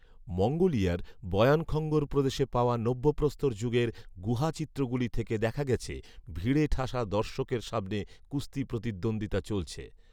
মঙ্গোলিয়ার Bayankhongor প্রদেশে পাওয়া নব্য প্রস্তর যুগের গুহা চিত্রগুলি থেকে দেখা গেছে ভিড়ে ঠাসা দর্শকের সামনে কুস্তি প্রতিদ্বন্দ্বিতা চলছে।